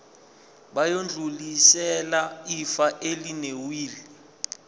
bayodlulisela ifa elinewili